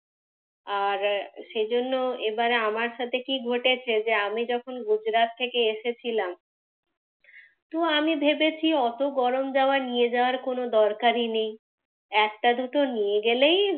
আর সেই জন্যে এবারে আমার সাথে কি ঘটেছে যে আমি যখন গুজরাত থেকে এসেছিলাম, তো আমি ভেবেছি অত গরম জামা নিয়ে যাওয়ার কোন দরকারই নেই। একটা দুটো নিয়ে গেলেই,